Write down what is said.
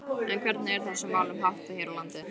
En hvernig er þessum málum háttað hér á landi?